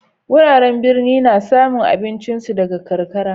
Wuraren birni na samu abincin su daga kankara.